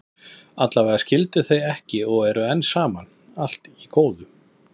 Allavega skildu þau ekki og eru enn saman, og allt í góðu.